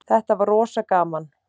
Þetta var rosa gaman.